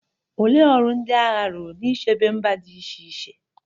Olee ọrụ ndị agha rụrụ n'ichebe mba dị iche iche?